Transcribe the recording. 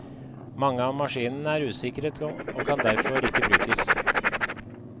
Mange av maskinene er usikret og kan derfor ikke brukes.